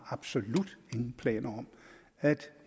absolut ingen planer har om at